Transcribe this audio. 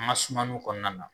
an ka sumaniw kɔnɔna na